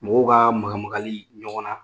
Mɔgɔw ka maga magali ɲɔgɔn na